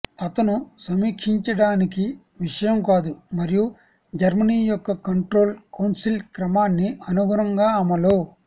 అతను సమీక్షించడానికి విషయం కాదు మరియు జర్మనీ యొక్క కంట్రోల్ కౌన్సిల్ క్రమాన్ని అనుగుణంగా అమలు